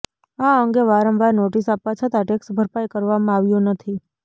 આ અંગે વારંવાર નોટીસ આપવા છતા ટેક્સ ભરપાઇ કરવામા આવ્યો નથી